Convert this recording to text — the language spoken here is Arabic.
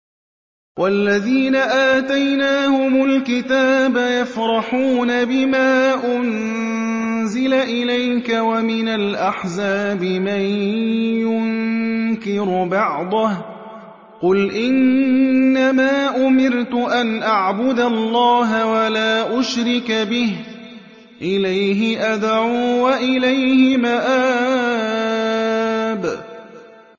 وَالَّذِينَ آتَيْنَاهُمُ الْكِتَابَ يَفْرَحُونَ بِمَا أُنزِلَ إِلَيْكَ ۖ وَمِنَ الْأَحْزَابِ مَن يُنكِرُ بَعْضَهُ ۚ قُلْ إِنَّمَا أُمِرْتُ أَنْ أَعْبُدَ اللَّهَ وَلَا أُشْرِكَ بِهِ ۚ إِلَيْهِ أَدْعُو وَإِلَيْهِ مَآبِ